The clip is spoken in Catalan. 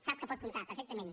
sap que pot comptar perfectament